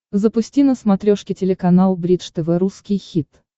запусти на смотрешке телеканал бридж тв русский хит